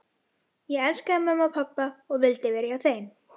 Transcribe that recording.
Ég elskaði mömmu og pabba og vildi vera hjá þeim.